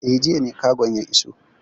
Eh, jiya ne kagon ya iso.